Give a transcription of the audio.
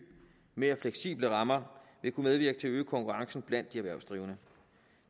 mere fleksible rammer vil kunne medvirke til at øge konkurrencen blandt de erhvervsdrivende